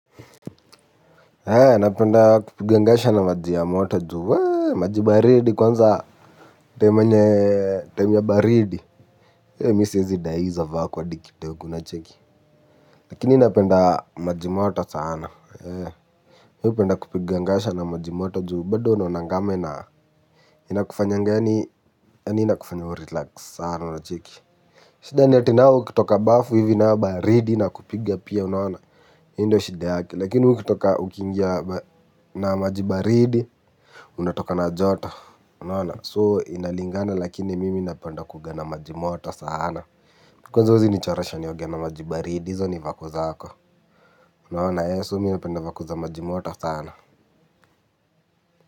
Hea napenda kupigangasha na maji ya moto juu, wee, maji baridi kwanza temenye, temenye baridi. Hea misi zidai iza vako adikite wakuna cheki. Lakini napenda maji moto sana, hee. Miu penda kupigangasha na maji moto juu, bado wano nangame na inakufanyangani, anina kufanyawo relax sana nacheki. Shidani atinao kitoka bafu hivi na baridi na kupiga pia unaona, hindo shideake, lakini ukitoka ukingia na maji baridi. Unatoka na joto unaona inalingana lakini mimi napenda kuoga na maji moto sana. Kwanza huzi nichoresha nioge na majibaridi zo ni vako zako. Unaona se mimi napenda vakuza majimota sana.